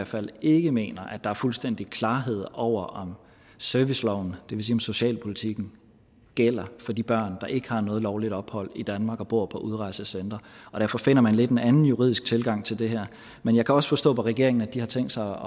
fald ikke mener at der er fuldstændig klarhed over om serviceloven det vil sige socialpolitikken gælder for de børn der ikke har noget lovligt ophold i danmark og bor på udrejsecentre derfor finder man lidt en anden juridisk tilgang til det her men jeg kan også forstå på regeringen at de har tænkt sig